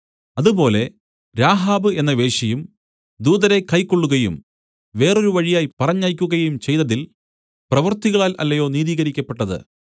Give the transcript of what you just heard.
അതുപോലെ രാഹാബ് എന്ന വേശ്യയും ദൂതരെ കൈക്കൊള്ളുകയും വേറൊരു വഴിയായി പറഞ്ഞയക്കുകയും ചെയ്തതിൽ പ്രവൃത്തികളാൽ അല്ലയോ നീതീകരിക്കപ്പെട്ടത്